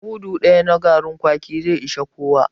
Mudu daya na garin kwaki zai ishi kowa